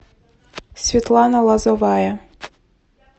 светлана лозовая